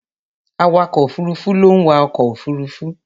Awakọ̀ òfuruufú ló ń wa ọkọ̀ òfuruufú.